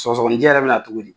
Sɔɔgɔninjɛ yɛrɛ bɛna cogo di?